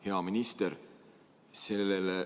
Hea minister!